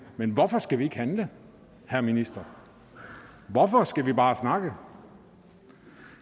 men hvorfor skal vi ikke handle herre minister hvorfor skal vi bare snakke